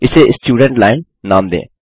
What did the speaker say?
इसे student line नाम दें